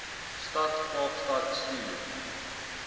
stad kaapstad stuur